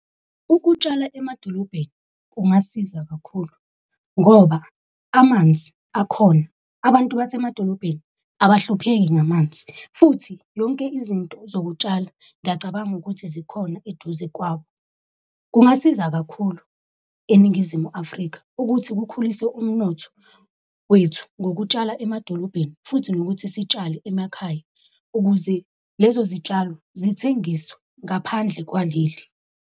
Ukutshala emadolobheni kungasiza kakhulu ngoba amanzi akhona abantu basemadolobheni abahlupheki ngamanzi, futhi yonke izinto zokutshala, ngiyacabanga ukuthi zikhona eduze kwabo. Kungasiza kakhulu eNingizimu Afrika ukuthi kukhulise umnotho wethu ngokutshala emadolobheni, futhi nokuthi sitshale emakhaya ukuze lezo zitshalo zithengiswe ngaphandle kwaleli.